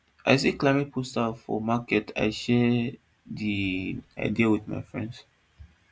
i see climate poster for market i share di idea with my friends